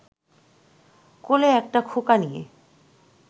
কোলে একটা খোকা নিয়ে